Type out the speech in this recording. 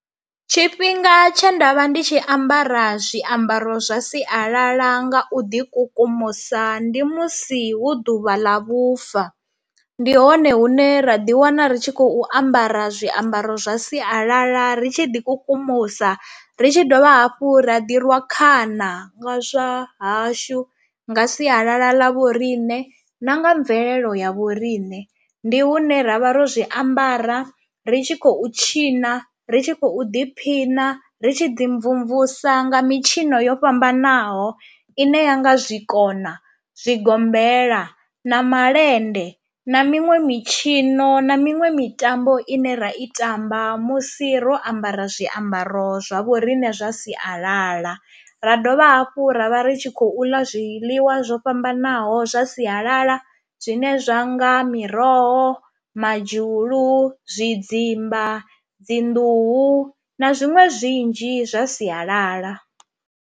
Tshifhinga tshe nda vha ndi tshi ambara zwiambaro zwa sialala nga u ḓi kukumusa ndi musi hu ḓuvha ḽa vhufa, ndi hone hune ra ḓi wana ri tshi khou ambara zwiambaro zwa sialala ri tshi ḓi kukumusa ri tshi dovha hafhu ra ḓi rwa khana nga zwa hashu nga sialala ḽa vhoriṋe na nga mvelelo ya vhoriṋe. Ndi hune ra vha ro zwiambara ri tshi khou tshina, ri tshi khou ḓiphina, ri tshi ḓi mvumvusa nga mitshino yo fhambanaho i ne ya nga zwikona, zwigombela na malende na miṅwe mitshino na miṅwe mitambo ine ra i tamba musi ro ambara zwiambaro zwa vhoriṋe zwa sialala, ra dovha hafhu ra vha ri tshi khou ḽa zwiḽiwa zwo fhambanaho zwa sialala zwine zwa nga miroho, madzhulu, zwidzimba, dzi nḓuhu na zwiṅwe zwinzhi zwa sialala.